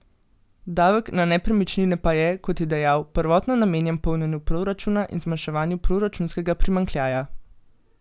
Davek na nepremičnine pa je, kot je dejal, prvotno namenjen polnjenju proračuna in zmanjševanju proračunskega primanjkljaja.